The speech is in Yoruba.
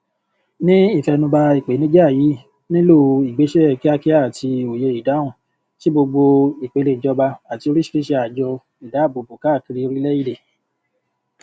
ní ìfẹnubà ìpènijà yìí nílò ìgbésẹ kíákíá àti òye ìdáhùn tí gbogbo ìpele ìjọba àti oríṣiríṣi àjọ ìdábòbò káàkiri orílẹèdè